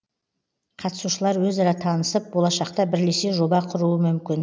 қатысушылар өзара танысып болашақта бірлесе жоба құруы мүмкін